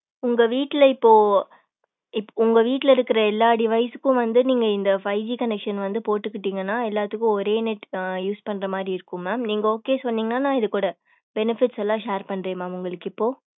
உங்க வீட்ல இப்போ இப் உங்க வீட்ல இருக்கிற எல்லா device க்கும் வந்து நீங்க இந்த fiveGconection வந்து போட்டுக்கிட்டீங்கன்னா எல்லாத்துக்கும் ஒரே net ஆஹ் use பண்ற மாரி இருக்கும் mam. நீங்க okay சொன்னீங்கன்னா நான் இது கூட benefits எல்லாம் share பண்றேன் ma'am நான் உங்களுக்கு இப்போ.